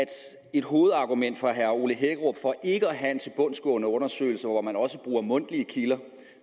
at et hovedargument for herre ole hækkerup for ikke at have en tilbundsgående undersøgelse hvor man også bruger mundtlige kilder